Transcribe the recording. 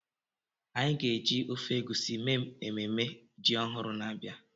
Anyị ga-eji ofe egusi mee ememme ji ọhụrụ na-abịa.